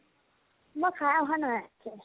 মই খাই অহা নাই